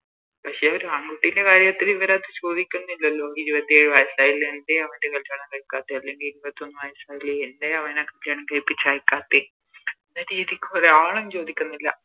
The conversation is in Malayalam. പക്ഷെ ഒരു ആൺ കുട്ടിൻറെ കാര്യത്തില് ഇവരത് ചോദിക്കുന്നില്ലല്ലോ ഇരുപത്തേഴ് വയസ്സായില്ലേ എന്തെ അവൻറെ കല്യാണം കഴിക്കത്തെ അല്ലെങ്കില് ഇരുപത്തൊന്ന് വയസ്സായില്ലേ എന്തെ അവനെ കല്യാണം കഴിപ്പിച്ച് അയക്കാത്തെ എന്ന രീതിക്ക് ഒരാളും ചോദിക്കുന്നില്ല